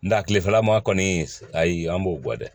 Nga kilefɛla ma kɔni ayi an b'o bɔ dɛ